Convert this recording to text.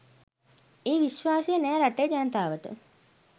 ඒ විශ්වාසය නෑ රටේ ජනතාවට.